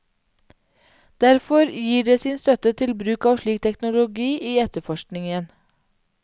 Derfor gir det sin støtte til bruk av slik teknologi i etterforskningen.